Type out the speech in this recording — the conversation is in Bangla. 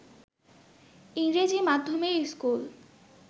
ইংরেজি মাধ্যমের স্কুল